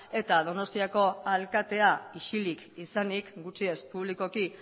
eta donostiako alkatea isilik izanik gutxienez publikoki